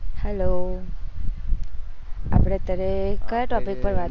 hello આપડે અત્યારે કયા topic પર વાત